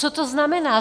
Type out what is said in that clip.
Co to znamená?